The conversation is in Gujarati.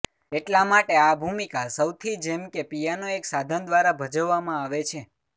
એટલા માટે આ ભૂમિકા સૌથી જેમ કે પિયાનો એક સાધન દ્વારા ભજવવામાં આવે છે